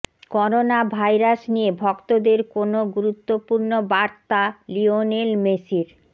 corona virus নিয়ে ভক্তদের কোন গুরুত্বপূর্ণ বার্তা লিওনেল মেসির